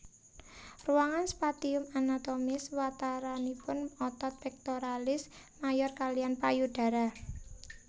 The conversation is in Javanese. Ruangan spatium anatomis wataranipun otot pectoralis major kaliyan payudara